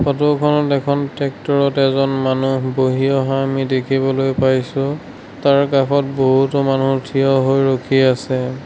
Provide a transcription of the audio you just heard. ফটোখনত এখন ট্ৰেক্টৰত এজন বহি অহা আমি দেখিবলৈ পাইছোঁ তাৰ কাষত বহুতো মানুহ থিয় হৈ আছে।